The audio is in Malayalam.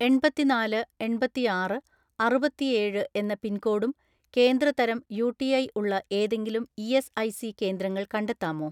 എണ്‍പത്തിനാല് എണ്‍പത്തിആറ് അറുപത്തിഏഴ് എന്ന പിൻകോഡും കേന്ദ്ര തരം യു.ടി.ഐ ഉള്ള ഏതെങ്കിലും ഇ.എസ്.ഐ.സി കേന്ദ്രങ്ങൾ കണ്ടെത്താമോ?